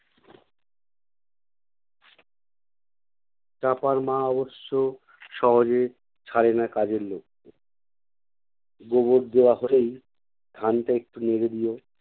চাঁপার মা অবশ্য সহজে ছাড়ে না কাজের লোককে গোবর দেওয়া হলেই ধান টা একটু নেড়ে দিও।